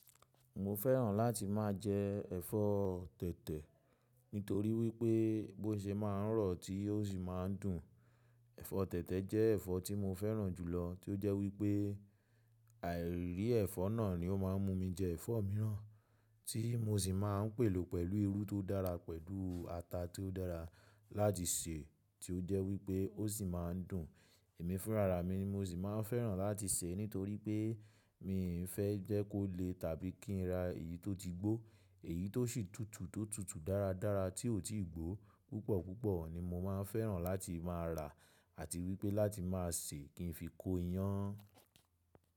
Mo fẹ́ràn láti máa jẹ ẹ̀fọ́ tẹ̀tẹ̀ nítorí wípé bó ṣe máa ń rọ̀ tí ó sì máa ń dùn. Ẹ̀fọ́ tẹ̀tẹ̀ jẹ́ ẹ̀fọ́ tí mo fẹ́ràn jù lọ tí ó jẹ́ wípé àìrí ẹ̀fọ́ náà ni ó máa ń mú mi jẹ ẹ̀fọ́ míràn tí mo sì máa ń pèlò pẹ̀lú irú tó dára pẹ̀lú ata tí ó dára láti sè tí ó jẹ́ wípé ó sì máa ń dùn. Èmi fúnra ra mi mo sì máa ń fẹ́ràn láti sè nítorí pé mi ò fẹ́ jẹ́ kó le tàbí kí n ra èyí tó ti gbó èyí tó sì tútù tó tútù dára dára tí ò tíì gbó púpọ̀ púpọ̀ ni mo máa ń fẹ́ràn láti máa rà àti wípé láti máa sè kí n fi kó iyán.